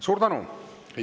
Suur tänu!